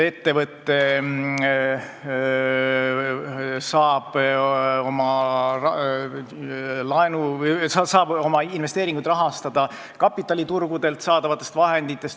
Ettevõte saab oma investeeringuid rahastada kapitaliturgudelt saadavatest vahenditest.